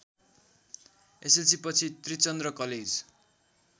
एसएलसीपछि Trichandra college